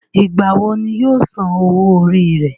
ìgbà wo ni yóò san owó orí rẹ̀?